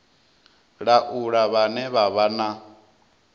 laula vhane vha vha na